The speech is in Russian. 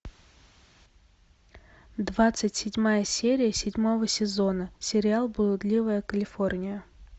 двадцать седьмая серия седьмого сезона сериал блудливая калифорния